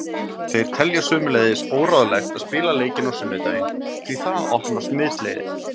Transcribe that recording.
Þeir telja sömuleiðis óráðlegt að spila leikinn á sunnudaginn því það opnar smitleiðir.